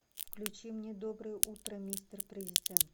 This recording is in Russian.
включи мне доброе утро мистер президент